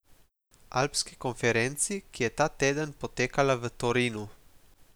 Alpski konferenci, ki je ta teden potekala v Torinu.